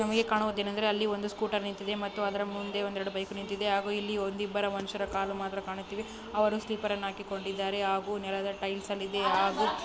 ನಮಗೆ ಕಾಣುವುದು ಏನಂದರೆ ಅಲ್ಲಿ ಒಂದು ಸ್ಕೂಟರ್ ನಿಂತಿದೆ ಮತ್ತೆ ಅದ್ರ ಮುಂದೆ ಒಂದ್ ಎರಡು ಬೈಕ್ ನಿಂತಿದೆ. ಹಾಗು ಒಂದ್ ಇಬ್ಬರು ಮನುಷ್ಯರ ಕಾಲು ಮಾತ್ರ ಕಾಣುತ್ತಿವೆ. ಅವರು ಸ್ಲಿಪ್ಪರ್ ಅನ್ನು ಹಾಕಿಕೊಂಡಿದ್ದಾರೆ ಹಾಗು ನೆಲದ ಟೈಲ್ಸ್ ಅಲ್ಲಿದೆ ಹಾಗು --